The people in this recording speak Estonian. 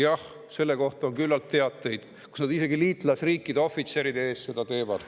Jah, selle kohta on küllalt teateid, kus nad isegi liitlasriikide ohvitseride ees seda teevad.